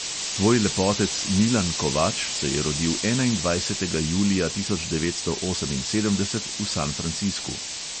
Tvoj lepotec milan kovač se je rodil enaindvajsetega julija tisoč devetsto oseminsedemdeset v san francisku.